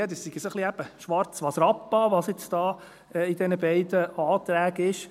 Ja, das wäre so ein wenig … eben «Schwarz was Rappa», was jetzt da in diesen beiden Anträgen vorhanden ist.